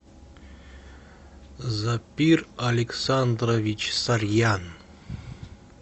запир александрович сарьян